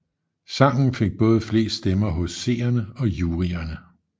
Sangen fik både flest stemmer hos seerne og juryerne